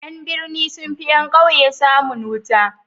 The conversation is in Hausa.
Yan birni sunfi yan ƙauye samun wuta